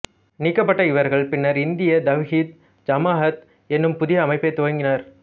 நீக்கப்பட்ட இவர்கள் பின்னர் இந்திய தவ்ஹீத் ஜமாஅத் என்னும் புதிய அமைப்பைத் துவங்கினர்